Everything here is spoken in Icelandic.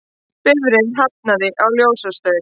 Bifreið hafnaði á ljósastaur